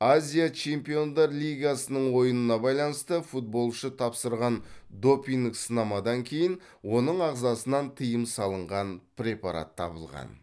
азия чемпиондар лигасының ойынына байланысты футболшы тапсырған допинг сынамадан кейін оның ағзасынан тыйым салынған препарат табылған